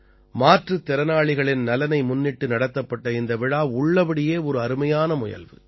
மாற்றுத் திறனாளிகளின் நலனை முன்னிட்டு நடத்தப்பட்ட இந்த விழா உள்ளபடியே ஒரு அருமையான முயல்வு